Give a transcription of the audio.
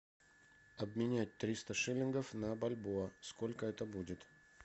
обменять триста шиллингов на бальбоа сколько это будет